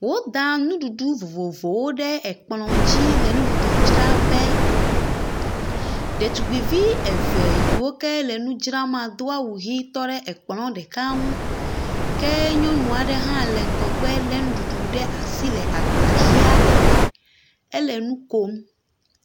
Woda nuɖuɖu vovovowo ɖe ekplɔ dzi le nuɖuɖu dzra ƒe. Ɖetugbui eve yi wo ke le nu dzra maa do awu ʋi, tɔ ɖe ekplɔ ɖeka ŋu. ke nyɔnua aɖe le ŋgɔ gbe lé nuɖuɖu ɖe asi le gba ʋia aɖe me. Ke ele nu kom.